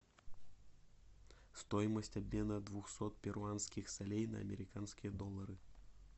стоимость обмена двухсот перуанских солей на американские доллары